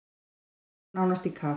Bíllinn fór nánast í kaf.